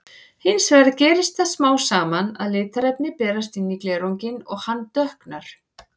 Hins vegar gerist það smám saman að litarefni berast inn í glerunginn og hann dökknar.